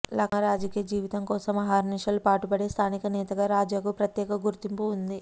లక్మా రాజకీయ జీవితం కోసం అహర్నిశలు పాటుపడే స్థానిక నేతగా రాజాకు ప్రత్యేక గుర్తింపు ఉంది